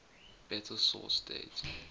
better source date